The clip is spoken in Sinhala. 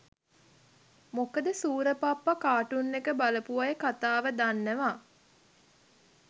මොකද සූර පප්පා කාටූන් එක බලපු අය කතාව දන්නව.